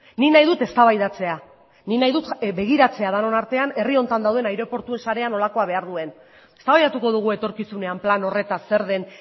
nik nahi dut eztabaidatzea nik nahi dut begiratzea denon artean herri honetan dauden aireportu sarea nolakoa behar duen eztabaidatuko dugu etorkizunean plan horretaz zer den